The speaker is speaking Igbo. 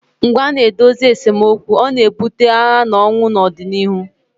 mgbe a na-edozighị esemokwu ọ na-ebute agha na ọnwụ n'ọdịnihu